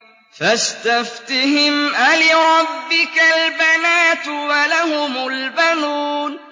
فَاسْتَفْتِهِمْ أَلِرَبِّكَ الْبَنَاتُ وَلَهُمُ الْبَنُونَ